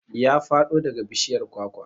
Ya faɗo daga bishiyar kwakwa